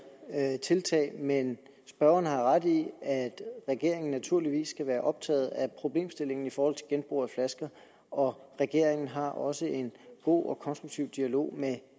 tiltag men spørgeren har ret i at regeringen naturligvis skal være optaget af problemstillingen i forhold til genbrug af flasker og regeringen har også en god og konstruktiv dialog